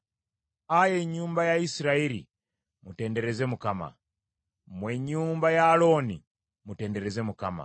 Ayi ennyumba ya Isirayiri mutendereze Mukama ; mmwe ennyumba ya Alooni mutendereze Mukama .